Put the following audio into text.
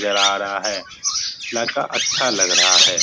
नजर आ रहा है लड़का अच्छा लग रहा है।